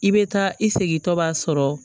I bɛ taa i segintɔ b'a sɔrɔ